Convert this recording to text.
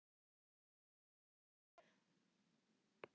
Skilur hún allt?